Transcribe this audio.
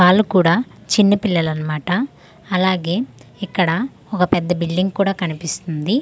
వాళ్ళు కూడా చిన్నపిల్లలన్న మాట అలాగే ఇక్కడ ఒక పెద్ద బిల్డింగ్ కూడా కనిపిస్తుంది.